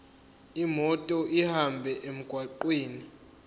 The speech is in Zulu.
imoto ihambe emgwaqweni